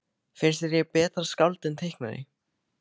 Finnst þér ég betra skáld en teiknari?